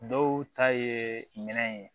Dɔw ta ye minɛn ye